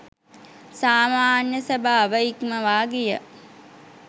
සාමාන්‍ය ස්වභාව ඉක්මවා ගිය